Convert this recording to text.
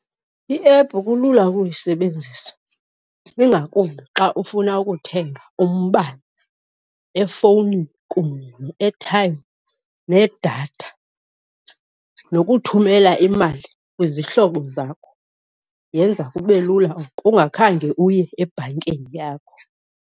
Iephu kulula ukuyisebenzisa ingakumbi xa ufuna ukuthenga umbane efowunini kunye ne-airtime nedatha nokuthumela imali kwizihlobo zakho yenza kube lula oko ungakhange uye ebhankini yakho.